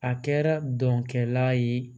A kɛra dɔnkɛla ye